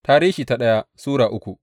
daya Tarihi Sura uku